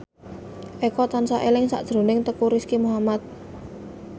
Eko tansah eling sakjroning Teuku Rizky Muhammad